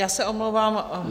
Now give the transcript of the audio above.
Já se omlouvám.